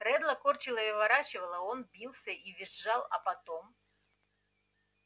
реддла корчило и выворачивало он бился и визжал а потом